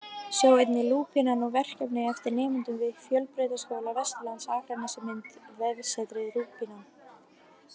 Sjá einnig: Lúpínan, verkefni eftir nemendur við Fjölbrautaskóla Vesturlands Akranesi Mynd: Vefsetrið Lúpínan